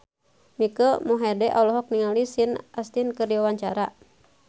Mike Mohede olohok ningali Sean Astin keur diwawancara